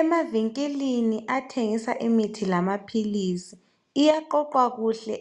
Emavinkilini athengisa imithi lamaphilisi. Iyaqoqwa kuhle